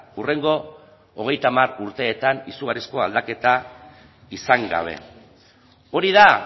hurrengo hogeita hamar urteetan izugarrizko aldaketa izan gabe hori da